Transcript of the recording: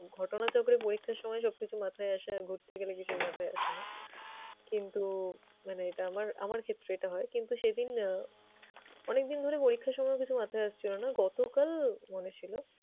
ঘটনা চক্রে পরীক্ষার সময় সবকিছু মাথায় আসে আর ঘুটতে গেলে কিছুই মাথায় আসে না কিন্তু মানে এটা আমার আমার ক্ষেত্রে এটা হয় কিন্তু সেদিন আহ অনেকদিন ধরে পরীক্ষার সময়ও কিছু মাথায় আসছিলো না, গতকাল মনে ছিলো।